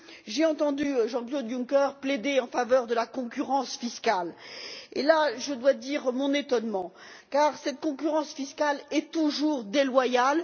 J'ai entendu Jean Claude Juncker plaider en faveur de la concurrence fiscale et je dois avouer mon étonnement, car cette concurrence fiscale est toujours déloyale.